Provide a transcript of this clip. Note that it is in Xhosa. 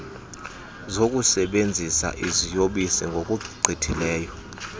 zokusebenzisa iziyobisi ngokugqithisileyo